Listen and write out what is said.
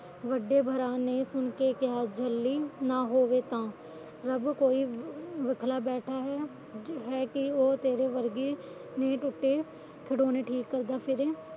ਵੱਡੇ ਭਰਾ ਨੇ ਸੁਣ ਕਿ ਕਿਹਾ ਝੱਲੀ ਨਾ ਹੋਵੇ ਤਾਂ ਰੱਬ ਕਈ ਬੱਖਲਾ ਬੈਠਾ ਹੈ ਕਿ ਉਹ ਤੇਰੇ ਵਰਗੀ ਦੇ ਟੁੱਟੇ ਖਿਡੋਣੇ ਠੀਕ ਕਰਦਾ ਫਿਰੇ